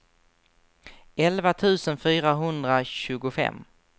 elva tusen fyrahundratjugofem